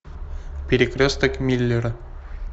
перекресток миллера